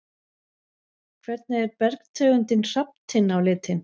Hvernig er bergtegundin hrafntinna á litinn?